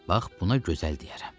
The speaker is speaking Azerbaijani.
Bax buna gözəl deyərəm.